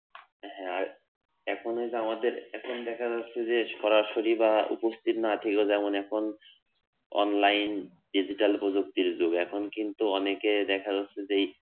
হ্যা আর এখন এইযে আমাদের এখন দেখা যাচ্ছে যে সরাসরি বা উপস্থিত না থেকেও যেমন এখন online digital প্রযুক্তির যুগ এখন কিন্তু অনেকেই দেখা যাচ্ছে যে এই